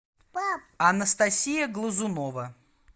анастасия глазунова